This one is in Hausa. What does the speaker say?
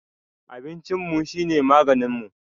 Abincinmu shine maganinmu